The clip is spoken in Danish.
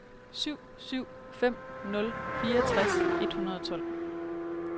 syv syv fem nul fireogtres et hundrede og tolv